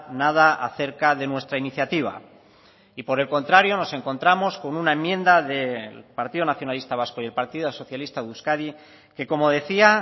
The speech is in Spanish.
nada a cerca de nuestra iniciativa y por el contrario nos encontramos con una enmienda del partido nacionalista vasco y del partido socialista de euskadi que como decía